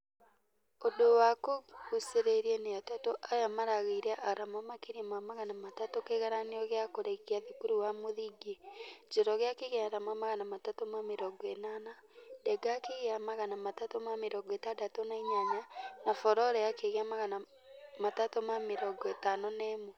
Ũndũ wa kũgucereria nĩ atatũ aya marageire arama makeria ma magana matatũ kĩgaranio gĩa kũrekia thukuru wa mũthingi. Njoroge akĩgĩa arama magana matatũ ma mĩrongo ĩnana, denga akĩgĩa magana matatũ ma mĩrongo ĩtandatũ na inyanya na furore akĩgĩa magana matatũ ma mĩrongo ĩtano na ĩmwe.